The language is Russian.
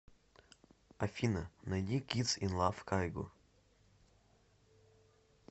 афина найди кидс ин лав кайго